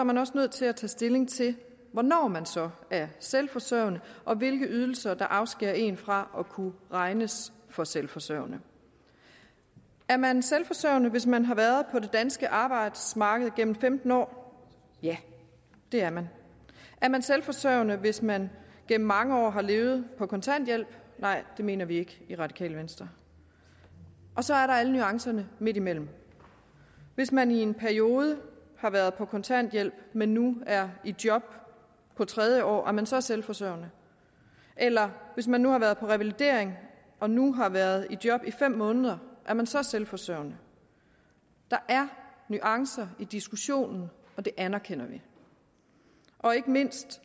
man også nødt til at tage stilling til hvornår man så er selvforsørgende og hvilke ydelser der afskærer en fra at kunne regnes for selvforsørgende er man selvforsørgende hvis man har været på det danske arbejdsmarked gennem femten år ja det er man er man selvforsørgende hvis man gennem mange år har levet på kontanthjælp nej det mener vi ikke i radikale venstre og så er der alle nuancerne midtimellem hvis man i en periode har været på kontanthjælp men nu er i job på tredje år er man så selvforsørgende eller hvis man har været på revalidering og nu har været i job i fem måneder er man så selvforsørgende der er nuancer i diskussionen og det anerkender vi og ikke mindst